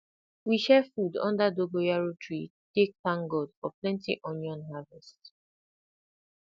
we share food under dogoyaro tree take thank god for plenty onion harvest